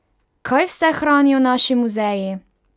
Kaj vse hranijo naši muzeji!